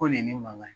Ko nin ye ne mankan ye